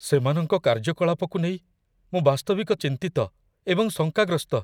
ସେମାନଙ୍କ କାର୍ଯ୍ୟକଳାପକୁ ନେଇ ମୁଁ ବାସ୍ତବିକ ଚିନ୍ତିତ ଏବଂ ଶଙ୍କାଗ୍ରସ୍ତ।